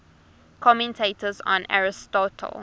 commentators on aristotle